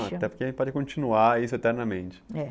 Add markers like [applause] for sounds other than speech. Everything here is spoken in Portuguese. [unintelligible] Até porque a gente pode continuar isso eternamente, é